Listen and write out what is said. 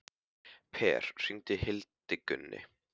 Per, hringdu í Hildigunni.